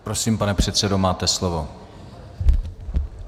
Prosím, pane předsedo, máte slovo.